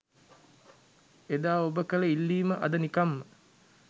එදා ඔබ කළ ඉල්ලීම අද නිකම්ම